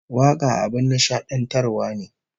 Waka abin nishadantarwa ne